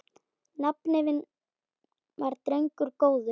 Nafni minn var drengur góður.